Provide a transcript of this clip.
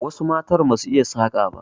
Wasu matan ba su iya saƙa ba.